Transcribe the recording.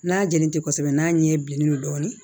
N'a jalen tɛ kosɛbɛ n'a ɲɛ ye bilen dɔɔnin